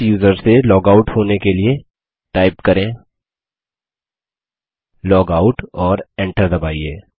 इस यूज़र से log out होने के लिए टाइप करेंlogout और Enter दबाइए